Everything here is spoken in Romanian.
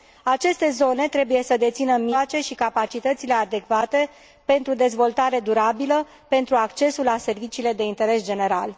Aceste zone trebuie să dețină mijloace și capacitățile adecvate pentru dezvoltare durabilă, pentru accesul la serviciile de interes general.